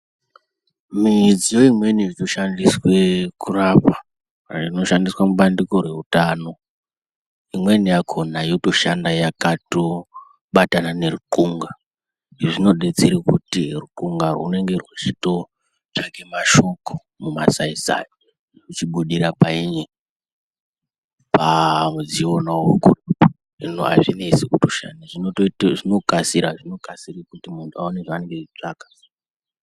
Midziyo imweni inoshandiswa kurapa kana kurapwa inoshandiswa mubandiko reutano imweni yakona yotoshanda yakabatana nekun'a izvi zvinodetseye kuti ukun'a hunenge hweitotsvaka mashoko mumasai sai zvichibudiya painyi pamudziyo wonauwowo hino azvinesi zvinotobudiya pamudziyo wonauwowo zvinokasiya kuti muntu awone zvaanenge eitsvaka